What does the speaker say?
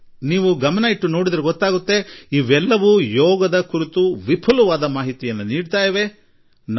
ಆದರೆ ನೀವು ಸ್ವಲ್ಪ ಗಮನಿಸಿದರೆ ಯೋಗ ಕುರಿತ ಮಾಹಿತಿಗಾಗಿಯೇ ಇದೆಲ್ಲಾ ನಡೆಯುತ್ತದೆ ಎಂಬುದು ತಿಳಿಯುತ್ತದೆ